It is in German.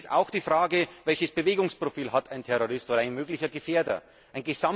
Es ist auch die Frage, welches Bewegungsprofil ein Terrorist oder ein möglicher Gefährder hat.